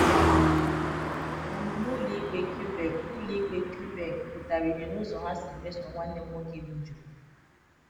Omume ụlọikpe Quebec ụlọikpe Quebec pụtara ìhè n’ụzọ ha si mesoo nwanne m nwoke, bụ́ Joe.